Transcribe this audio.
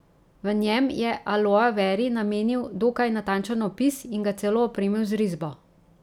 V njem je aloe veri namenil dokaj natančen opis in ga celo opremil z risbo.